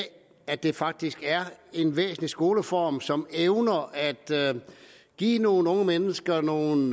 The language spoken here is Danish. at det faktisk er en væsentlig skoleform som evner at give nogle unge mennesker nogle